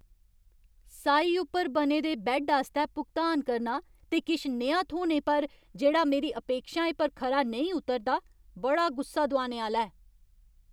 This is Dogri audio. साई उप्पर बने दे बैड्ड आस्तै भुगतान करना ते किश नेहा थ्होने पर, जेह्ड़ा मेरी अपेक्षाएं पर खरा नेईं उतरदा, बड़ा गुस्सा दोआने आह्‌ला ऐ।